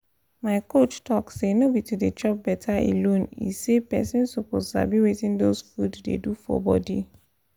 my coach talk say no be to dey chop better alone e say person suppose sabi wetin those food dey do for body